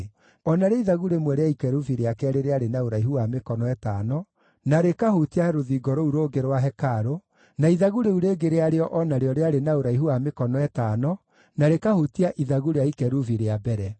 O narĩo ithagu rĩmwe rĩa ikerubi rĩa keerĩ rĩarĩ na ũraihu wa mĩkono ĩtano na rĩkahutia rũthingo rũu rũngĩ rwa hekarũ, na ithagu rĩu rĩngĩ rĩarĩo o narĩo rĩarĩ na ũraihu wa mĩkono ĩtano na rĩkahutia ithagu rĩa ikerubi rĩa mbere.